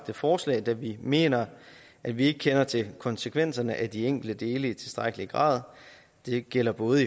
forslag da vi mener at vi ikke kender til konsekvenserne af de enkelte dele i tilstrækkelig grad det gælder både